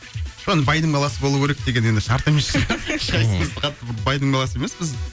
байдың баласы болу керек деген енді шарт емес шығар ешқайсымыз қатты байдың баласы емеспіз